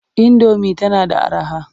Indomi tana da araha.